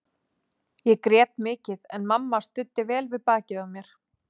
Ég grét mikið en mamma studdi vel við bakið á mér.